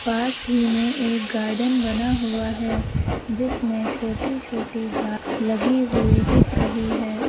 पास ही में एक गार्डन बना हुआ है जिसमें छोटी छोटी घास लगी हुई दिख रही है।